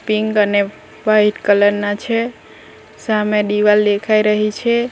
Pink અને white colour ના છે સામે દિવાલ દેખાઈ રહી છે.